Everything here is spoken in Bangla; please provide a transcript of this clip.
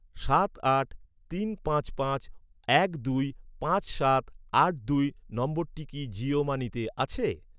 সাত আট তিন পাঁচ পাঁচ এক দুই পাঁচ সাত আট দুই নম্বরটি কি জিও মানিতে আছে?